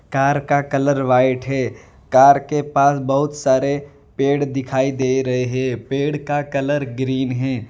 Car का colour white है car के पास बहोत सारे पेड़ दिखाई दे रहे पेड़ का कलर ग्रीन है।